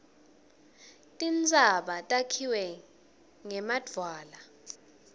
tintsaba takhiwe ngemadvwala